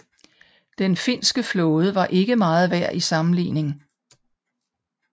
Den finske flåde var ikke meget værd i sammenligning